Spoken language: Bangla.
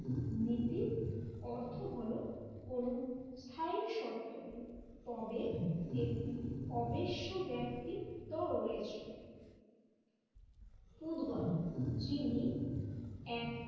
নীতির অর্থ হল কোন স্থায়ী সত্য নেই তবে একটি অবিশ্য ব্যক্তিত্ব রয়েছে। পুতগল যিনি এক